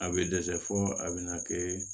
A bɛ dɛsɛ fo a bɛna kɛ